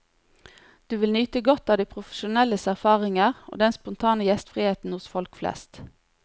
Du vil nyte godt av de profesjonelles erfaringer, og den spontane gjestriheten hos folk flest.